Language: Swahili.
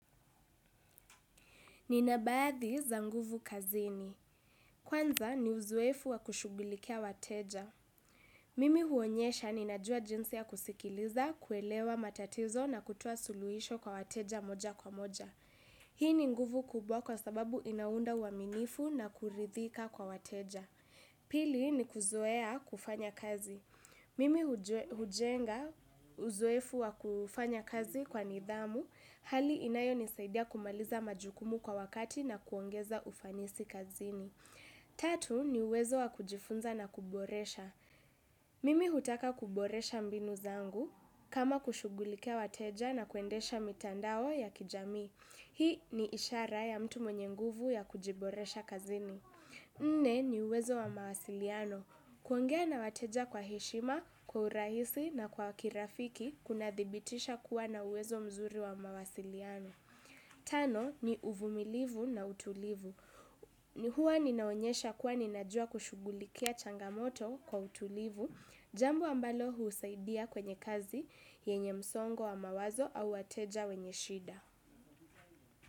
Nina baadhi za nguvu kazini. Kwanza ni uzuefu wa kushughulikia wateja. Mimi huonyesha ninajua jinsi ya kusikiliza, kuelewa matatizo na kutoa suluisho kwa wateja moja kwa moja. Hii ni nguvu kubwa kwa sababu inaunda aminifu na kuridhika kwa wateja. Pili ni kuzuea kufanya kazi. Mimi hujenga uzuefu wa kufanya kazi kwa nidhamu. Hali inayonisaidia kumaliza majukumu kwa wakati na kuongeza ufanisi kazini. Tatu ni uwezo wa kujifunza na kuboresha. Mimi hutaka kuboresha mbinu zangu kama kushughulikia wateja na kuendesha mitandao ya kijamii. Hii ni ishara ya mtu mwenye nguvu ya kujiboresha kazini. Nne ni uwezo wa mawasiliano. Kwongea na wateja kwa heshima, kwa urahisi na kwa kirafiki kuna dhibitisha kuwa na uwezo mzuri wa mawasiliano. Tano ni uvumilivu na utulivu. Ni huwa ninaonyesha kuwa ninajua kushughulikia changamoto kwa utulivu. Jambo ambalo husaidia kwenye kazi yenye msongo wa mawazo au wateja wenye shida.